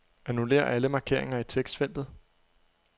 Annullér alle markeringer i tekstfeltet.